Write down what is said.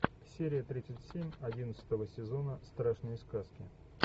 серия тридцать семь одиннадцатого сезона страшные сказки